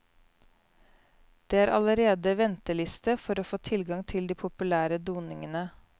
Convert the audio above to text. Det er allerede venteliste for å få tilgang til de populære doningene.